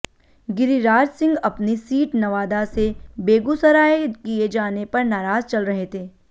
गिरिराज सिंह अपनी सीट नवादा से बेगूसराय किए जाने पर नाराज चल रहे थे